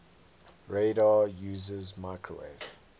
radar uses microwave